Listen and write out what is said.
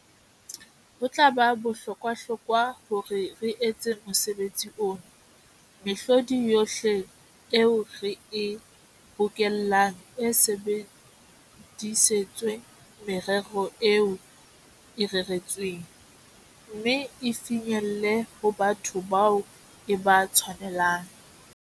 "Ho tla ba bohlokwahlokwa, hore ha re etsa mosebetsi ona, mehlodi yohle eo re e bokellang e sebedisetswe merero eo e reretsweng, mme e finyelle ho batho bao e ba tshwanelang."